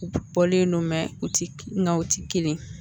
U bɔlen ne mɛ u ti nga u ti kelen